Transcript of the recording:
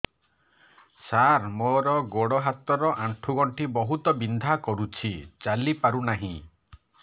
ସାର ମୋର ଗୋଡ ହାତ ର ଆଣ୍ଠୁ ଗଣ୍ଠି ବହୁତ ବିନ୍ଧା କରୁଛି ଚାଲି ପାରୁନାହିଁ